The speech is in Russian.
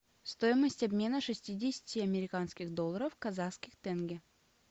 стоимость обмена шестидесяти американских долларов в казахских тенге